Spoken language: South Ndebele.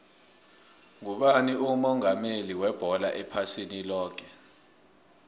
ngubani umongameli webholo ephasini loke